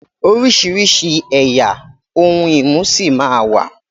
oríṣirisi ẹyà òun imú sí má wá